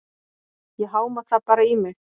Ég háma það bara í mig.